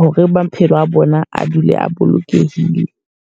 Hore maphelo a bona a dule a bolokehile.